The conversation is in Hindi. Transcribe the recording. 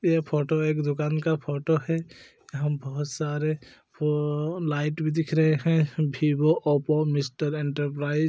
ये फोटो एक दुकान का फोटो है यहाँ बहुत सारे ववव लाइट भी दिख रहै हैं वीवो ओप्पो मिस्टर एंटरप्राइज --